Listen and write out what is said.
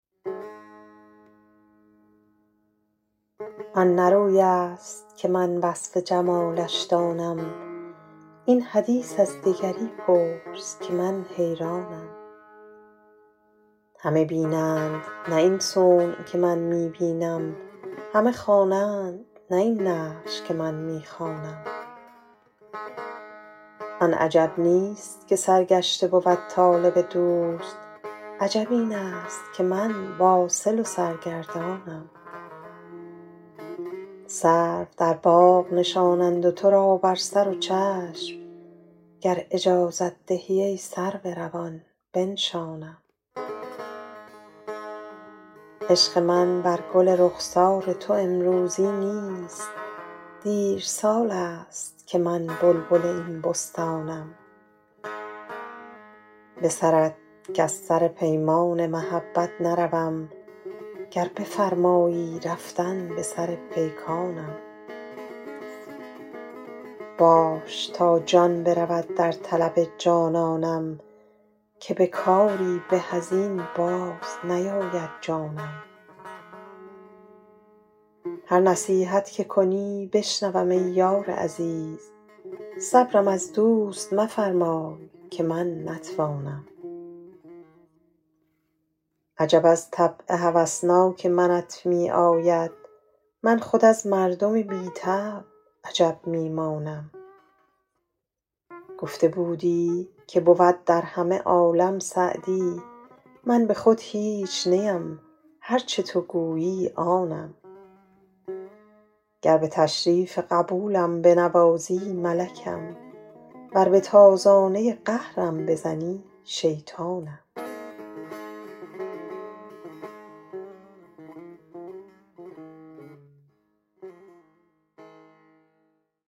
آن نه روی است که من وصف جمالش دانم این حدیث از دگری پرس که من حیرانم همه بینند نه این صنع که من می بینم همه خوانند نه این نقش که من می خوانم آن عجب نیست که سرگشته بود طالب دوست عجب این است که من واصل و سرگردانم سرو در باغ نشانند و تو را بر سر و چشم گر اجازت دهی ای سرو روان بنشانم عشق من بر گل رخسار تو امروزی نیست دیر سال است که من بلبل این بستانم به سرت کز سر پیمان محبت نروم گر بفرمایی رفتن به سر پیکانم باش تا جان برود در طلب جانانم که به کاری به از این باز نیاید جانم هر نصیحت که کنی بشنوم ای یار عزیز صبرم از دوست مفرمای که من نتوانم عجب از طبع هوسناک منت می آید من خود از مردم بی طبع عجب می مانم گفته بودی که بود در همه عالم سعدی من به خود هیچ نیم هر چه تو گویی آنم گر به تشریف قبولم بنوازی ملکم ور به تازانه قهرم بزنی شیطانم